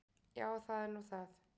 Já, það er nú það.